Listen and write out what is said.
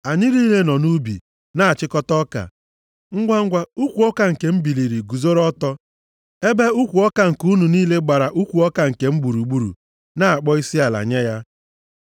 Anyị niile nọ nʼubi na-achịkọta ọka, ngwangwa ukwu ọka nke m biliri guzoro ọtọ, ebe ukwu ọka nke unu niile gbara ukwu ọka nke m gburugburu, na-akpọ isiala nye ya.”